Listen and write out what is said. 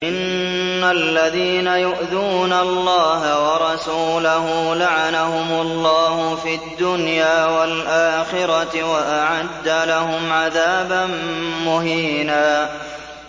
إِنَّ الَّذِينَ يُؤْذُونَ اللَّهَ وَرَسُولَهُ لَعَنَهُمُ اللَّهُ فِي الدُّنْيَا وَالْآخِرَةِ وَأَعَدَّ لَهُمْ عَذَابًا مُّهِينًا